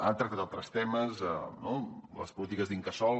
ha tractat altres temes com les polítiques l’incasòl